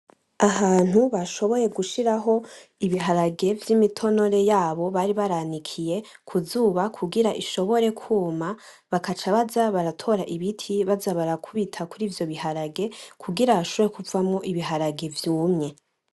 Ahantu bashoboye gushiraho ibiharage vy'imitonore yabo bari baranikiye kuzuba kugirango ishobore kuma, bakaca baza baratora ibiti baza barakubita kuri ivyo biharage kugira hashobore kuvamwo ibiharage vyumye.